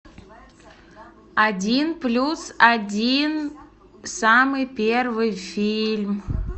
один плюс один самый первый фильм